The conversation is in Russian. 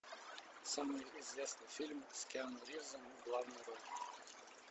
самый известный фильм с киану ривзом в главной роли